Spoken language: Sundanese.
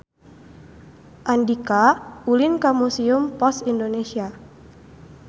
Andika ulin ka Museum Pos Indonesia